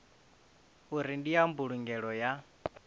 uri ndi ya mbulungelo ya